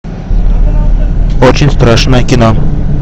очень страшное кино